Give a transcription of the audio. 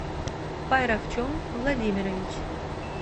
пайравчон владимирович